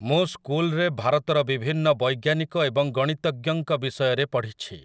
ମୁଁ ସ୍କୁଲରେ ଭାରତର ବିଭିନ୍ନ ବୈଜ୍ଞାନିକ ଏବଂ ଗଣିତଜ୍ଞଙ୍କ ବିଷୟରେ ପଢ଼ିଛି।